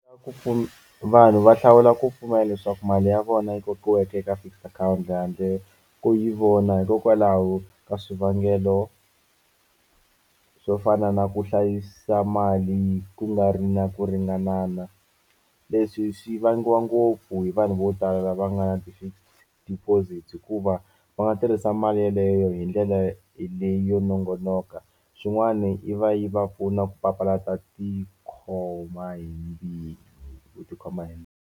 Ku vanhu va hlawula ku pfumela leswaku mali ya vona yi vekiweke eka fixed account handle ko yi vona hikokwalaho ka swivangelo swo fana na ku hlayisa mali ku nga ri na ku ringanana. Leswi swi vangiwa ngopfu hi vanhu vo tala lava nga na ti-fixed deposit hikuva va nga tirhisa mali yeleyo hi ndlela leyo nongonoka xin'wani yi va yi va pfuna ku papalata tikhoma hi ku tikhoma hi.